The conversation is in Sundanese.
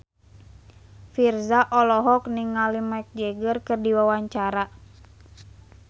Virzha olohok ningali Mick Jagger keur diwawancara